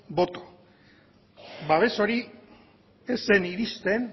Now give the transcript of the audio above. boto babes hori ez zen iristen